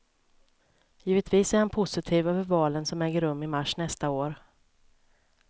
Givetvis är han positiv över valen som äger rum i mars nästa år.